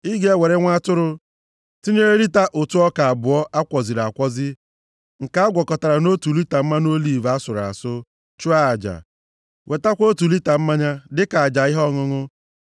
Ị ga-ewere nwa atụrụ, tinyere lita ụtụ ọka abụọ a kwọziri akwọzi nke a gwọkọtara nʼotu lita mmanụ oliv asụrụ asụ, chụọ aja. Wetakwa otu lita mmanya dịka aja ihe ọṅụṅụ.